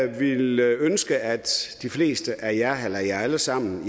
ville ønske at de fleste af jer eller jer alle sammen